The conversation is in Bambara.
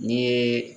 Ni ye